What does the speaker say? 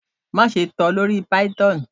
Maṣe tẹ lori Python